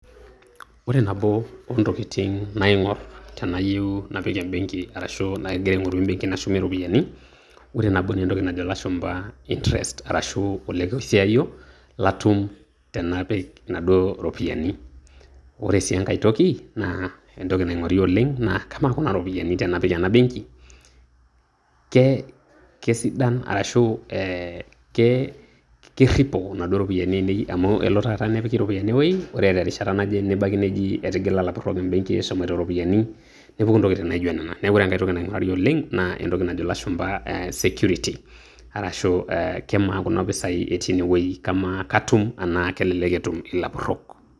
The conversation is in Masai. Ore nabo oontokitin naing'orr tenayieu napik ebenki arashu agira aing'oru ebenki nashumie iropiyiani ore nabo naa entoki nano ilashumba interest olekosiayio latum tenapik enaduo iropiyiani ore sii engae toki naa entoki naing'ori oleng' naa kamaa toi Kuna iropiyiani tenapik ena ebenki, ke kesidan arashu ee kerripo enaduo ropiyiani te amu kelo taata nepiki iropiyiani ewueii ore terishata naje nebaki neji etigila ilapurrok ebenki, eshomoito o ropiyiani nepuku entokitin' naijio Nena neeku ore engae toki naing'urari oleng' naa entoki najo ilashumpa security arashu aa kamaa Kuna pisai etii ine wueji kamaa katum tenaa kelelek peetum ilapurrok.